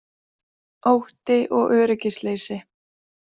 Ótti og öryggisleysi